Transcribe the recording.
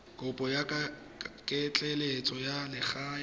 kopo ya ketleetso ya legae